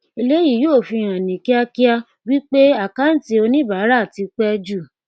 eléyìí yóò fi hàn ní kíákíá wí pé àkáǹtí oníbàárà tí pẹ jù